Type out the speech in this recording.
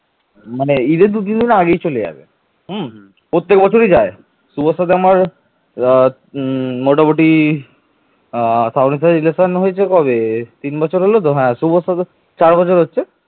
বাঙ্গালী জাতি প্রাচীন ভারতের একটি পরাক্রমশালী সমুদ্র অভিযাত্রী জাতি ছিল